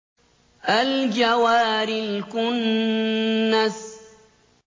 الْجَوَارِ الْكُنَّسِ